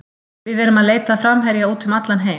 Við erum að leita að framherja út um allan heim.